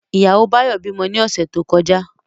Ìyàwó Báyọ̀ bímọ ní ọ̀sẹ̀ tó kọjá